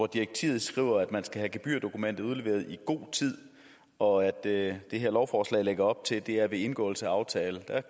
direktivet skriver at man skal have gebyrdokumentet udleveret i god tid og at det her lovforslag lægger op til at det er ved indgåelse af aftale